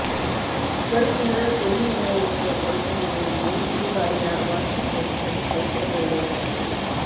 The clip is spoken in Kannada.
ಮರುದಿನ ಕೊಡಿಮರ ಇಳಿಸುವ ಕೈಂಕರ್ಯದೊಂದಿಗೆ ಈ ಬಾರಿಯ ವಾರ್ಷಿಕ ಉತ್ಸವಕ್ಕೆ ತೆರೆ ಎಳೆಯಲಾಯಿತು